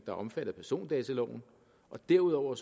er omfattet af persondataloven og derudover